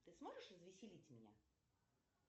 ты сможешь развеселить меня